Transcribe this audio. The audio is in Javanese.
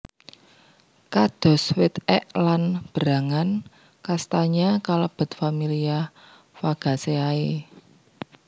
Kados wit ek lan berangan kastanya kalebet familia Fagaceae